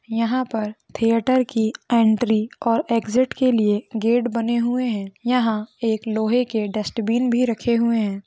यहाँ पर थिएटर की एंट्री और एग्जिट के लिए गेट बने हुए है। यहाँ एक लोहे के डस्ट्बिन भी रखे हुए है।